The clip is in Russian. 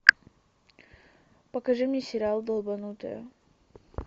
покажи мне сериал долбанутые